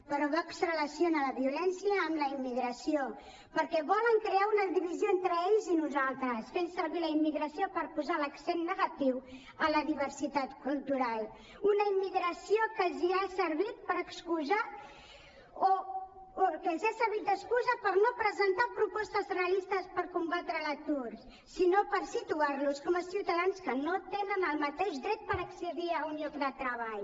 però vox relaciona la violència amb la immigració perquè volen crear una divisió entre ells i nosaltres fent servir la immigració per posar l’accent negatiu en la diversitat cultural una immigració que els ha servit per excusar o que els ha servit d’excusa per no presentar propostes realistes per combatre l’atur sinó per situar los com a ciutadans que no tenen el mateix dret per accedir a un lloc de treball